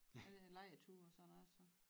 Er det lejrture og sådan noget så